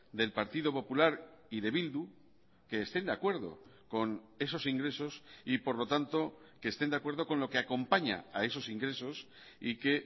del partido popular y de bildu que estén de acuerdo con esos ingresos y por lo tanto que estén de acuerdo con lo que acompaña a esos ingresos y que